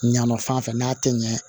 Ɲaman fan fɛ n'a tɛ ɲɛ